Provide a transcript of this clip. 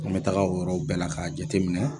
N bɛ taga yɔrɔw bɛɛ la k'a jateminɛ